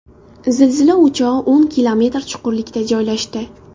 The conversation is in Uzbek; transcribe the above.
Zilzila o‘chog‘i o‘n kilometr chuqurlikda joylashdi.